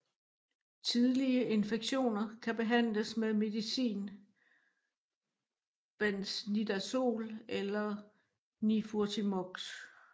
Tidlige infektioner kan behandles med medicin benznidazol eller nifurtimox